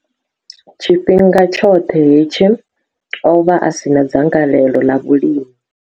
Tshifhinga tshoṱhe hetshi, o vha a si na dzangalelo ḽa vhulimi.